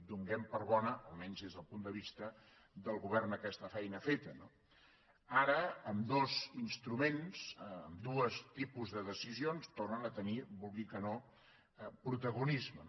donem per bona almenys des del punt de vista del govern aquesta feina feta no ara ambdós instruments ambdós tipus de decisions tornen a tenir ho vulgui o no protagonisme